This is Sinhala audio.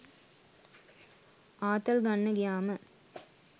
ආතල් ගන්න ගියාම